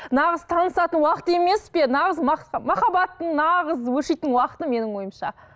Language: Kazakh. нағыз танысатын уақыт емес пе нағыз махаббаттың нағыз өршитін уақыты менің ойымша